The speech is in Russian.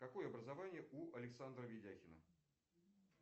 какое образование у александра видяхина